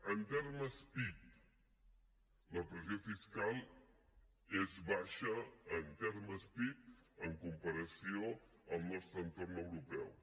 en termes pib la pressió fiscal és baixa en termes pib en compa ració al nostre entorn europeu